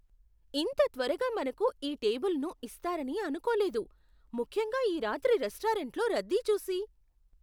ఇంత త్వరగా మనకు ఈ టేబులును ఇస్తారని అనుకోలేదు, ముఖ్యంగా ఈ రాత్రి రెస్టారెంట్లో రద్దీ చూసి.